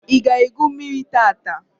I ga egwu mmírí tata?